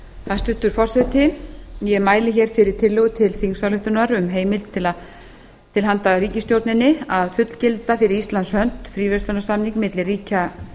hæstvirtur forseti ég mæli fyrir tillögu til þingsályktunar um heimild til handa ríkisstjórninni að fullgilda fyrir íslands hönd fríverslunarsamning milli ríkja